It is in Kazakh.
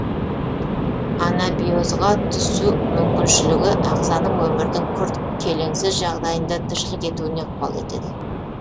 анабиозға түсу мүмкіншілігі ағзаның өмірдің күрт келеңсіз жағдайында тіршілік етуіне ықпал етеді